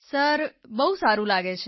sir બહુ સારૂં લાગે છે